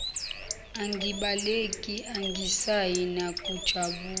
angibaleki angisayi nakujabu